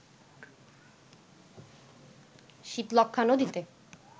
শীতলক্ষ্যা নদীতে